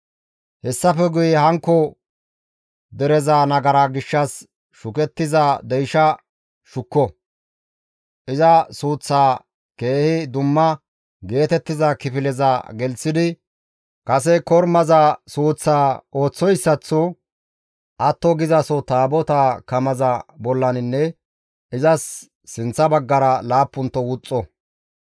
«Hessafe guye hankko dereza nagaraa gishshas shukettiza deyshaa shukko; iza suuththaa keehi dumma geetettiza kifileza gelththidi kase kormaza suuththaa ooththoyssaththo atto gizaso Taabotaa kamaza bollaninne izas sinththa baggara laappunto wuxxo.